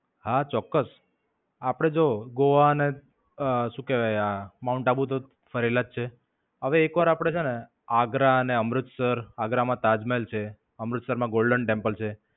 હા, ચોક્કસ. આપડે જો ગોવા અને શું કહેવાય આ માઉન્ટ આબુ તો ફરેલા જ છે. હવે એકવાર આપડે છેને આગ્રા ને અમૃતસર, આગરા માં તાજમહેલ છે. અમૃતસર માં Golden Temple છે.